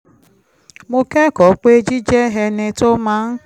mo kẹ́kọ̀ọ́ pé jíjẹ́ ẹni tó máa ń